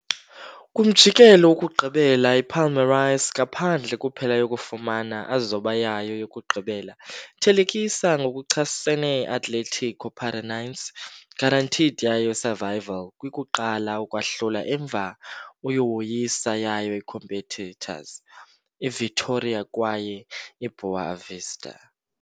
Kwumjikelo wokugqibela, Palmeiras, ngaphandle kuphela yokufumana a zoba yayo yokugqibela thelekisa, ngokuchasene Atlético Paranaense, guaranteed yayo survival kwi kuqala ukwahlula emva uyawoyisa yayo competitors, Vitória kwaye boa_ vista.